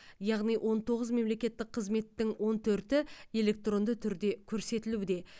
яғни он тоғыз мемлекеттік қызметтің он төрті электронды түрде көрсетілуде